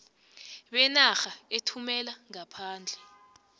benarha ethumela ngaphandle